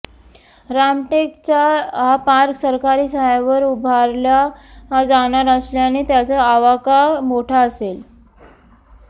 रामटेकचा हा पार्क सरकारी साह्यावर उभारला जाणार असल्याने त्याचा आवाका मोठा असेल